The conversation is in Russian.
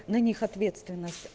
на них ответственных